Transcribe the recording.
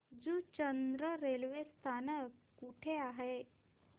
Juchandra railway स्थानक कुठे आहे